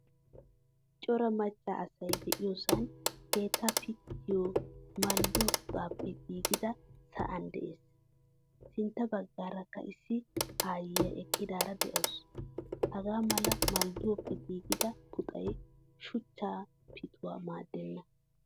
Cora macca asay de'iyosaan keettaa pittiyo maldduwaa puxappe giigidage sa'an de'ees. Sintta bagaarakka issi aayiyaa eqqidaara de'awusu. Hagaa mala malduwappe gigida puxay shuchcha keettawu maaddeenna.